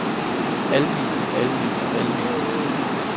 almene almene almene